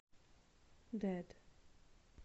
дэд